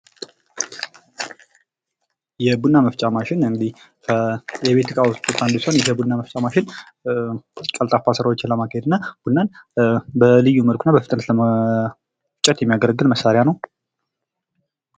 የቡና መፍጫ ማሽን ከቤት እቃዎች ውስጥ አንዱ ሲሆን ይህ የቡና መፍጫ ማሽን ቀልጣፋ ስራዎችን ለማካሄድ እና ቡናን በልዩ መልኩና በፍጥነት ለመፍጨት የሚያገለግል መሳሪያ ነው።